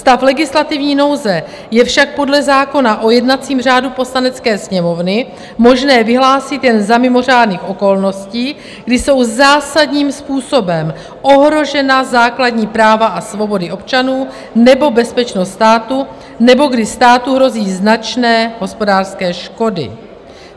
Stav legislativní nouze je však podle zákona o jednacím řádu Poslanecké sněmovny možné vyhlásit jen za mimořádných okolností, kdy jsou zásadním způsobem ohrožena základní práva a svobody občanů nebo bezpečnost státu nebo kdy státu hrozí značné hospodářské škody.